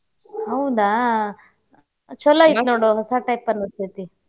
ಹೌದಾ? ಛಲೋ ಐತಿ ನೋಡು ಹೊಸಾ type ಅನಸ್ತೇತಿ.